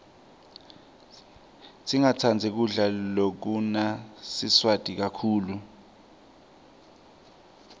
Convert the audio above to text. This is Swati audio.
singatsandzi kudla lokunasawati kakhulu